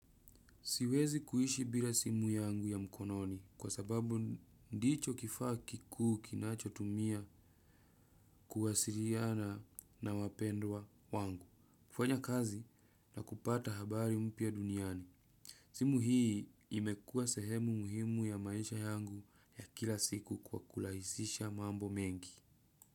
Siwezi kuishi bila simu yangu ya mkononi kwa sababu ndicho kifaa kikuu kinachotumia kuwasiriana na wapendwa wangu, kufanya kazi na kupata habari mpya duniani. Simu hii imekuwa sehemu muhimu ya maisha yangu ya kila siku kwa kulahisisha mambo mengi.